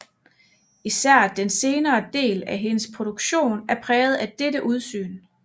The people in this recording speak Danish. Især den senere del af hendes produktion er præget af dette udsyn